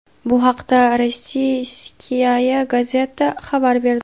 Bu haqda "Rossiyskaya gazeta" xabar berdi.